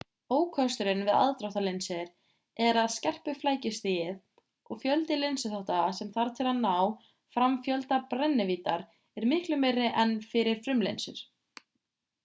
ókosturinn við aðdráttarlinsur er að skerpuflækjustigið og fjöldi linsuþátta sem þarf til að ná fram fjölda brennivíddar er miklu meiri en fyrir frumlinsur